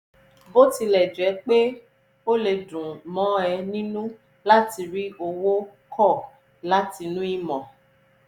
bó tilẹ̀ jẹ́ pé ó lè dùn mọ́ ẹ nínú láti rí owó kọ́ látinú ìmọ̀